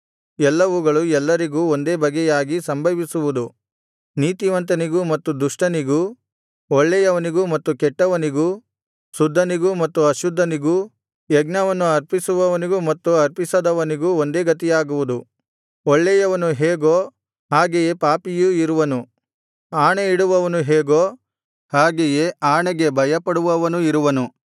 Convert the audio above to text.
ಎಲ್ಲವುಗಳು ಎಲ್ಲರಿಗೂ ಒಂದೇ ಬಗೆಯಾಗಿ ಸಂಭವಿಸುವುದು ನೀತಿವಂತನಿಗೂ ಮತ್ತು ದುಷ್ಟನಿಗೂ ಒಳ್ಳೆಯವನಿಗೂ ಮತ್ತು ಕೆಟ್ಟವನಿಗೂ ಶುದ್ಧನಿಗೂ ಮತ್ತು ಅಶುದ್ಧನಿಗೂ ಯಜ್ಞವನ್ನು ಅರ್ಪಿಸುವವನಿಗೂ ಮತ್ತು ಅರ್ಪಿಸದವನಿಗೂ ಒಂದೇ ಗತಿಯಾಗುವುದು ಒಳ್ಳೆಯವನು ಹೇಗೋ ಹಾಗೆಯೇ ಪಾಪಿಯೂ ಇರುವನು ಆಣೆಯಿಡುವವನು ಹೇಗೋ ಹಾಗೆಯೇ ಆಣೆಗೆ ಭಯಪಡುವವನೂ ಇರುವನು